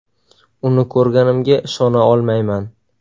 Uni ko‘rganimga ishona olmayman.